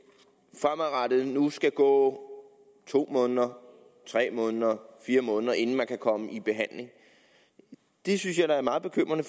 fremadrettet nu skal gå to måneder tre måneder fire måneder inden man kan komme i behandling det synes jeg da er meget bekymrende